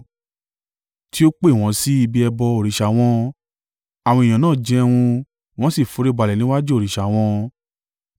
tí ó pè wọ́n sí ibi ẹbọ òrìṣà wọn. Àwọn ènìyàn náà jẹun wọ́n sì foríbalẹ̀ níwájú òrìṣà wọn.